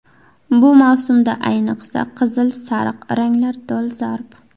Bu mavsumda ayniqsa, qizil, sariq ranglar dolzarb.